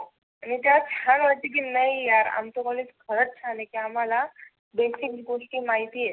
याच्यात छान वाटतं की नाही यार आमच कॉलेज खरच छान आहे की आम्हाला बेसिक गोष्टी माहिती आहे.